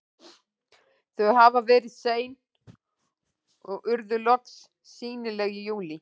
Þau hafa verið sein og urðu loks sýnileg í júlí.